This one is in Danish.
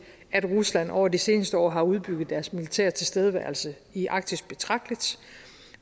at rusland over de seneste år har udbygget deres militære tilstedeværelse i arktis betragteligt